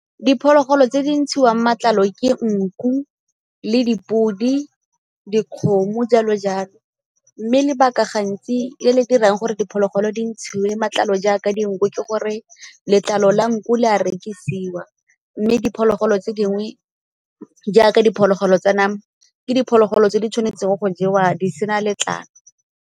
Diphologolo tse di ntshiwang matlalo ke nku le dipodi, dikgomo jalo jalo. Mme lebaka gantsi le le dirang gore diphologolo di ntshiwe matlalo jaaka dinku ke gore letlalo la nku le a rekisiwa mme diphologolo tse dingwe jaaka diphologolo tsa nama, ke diphologolo tse di tshwanetseng go jewa di sena letlalo.